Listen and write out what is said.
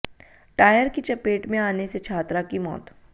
tyre की चपेट में आने से छात्रा की मौत